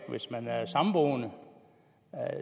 hvis man er samboende og